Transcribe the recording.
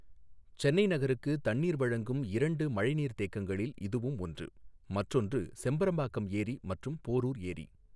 சென்னை நகருக்குத் தண்ணீர் வழங்கும் இரண்டு மழைநீர் தேக்கங்களில் இதுவும் ஒன்று, மற்றொன்று செம்பரம்பாக்கம் ஏரி மற்றும் போரூர் ஏரி.